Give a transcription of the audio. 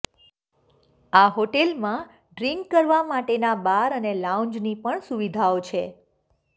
આ હોટેલમાં ડ્રિન્ક કરવા માટેના બાર અને લાઉન્જની પણ સુવિધાઓ છે